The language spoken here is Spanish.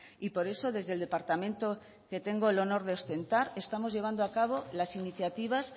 y por eso desde el departamento que tengo el honor de ostentar estamos llevando a cabo las iniciativas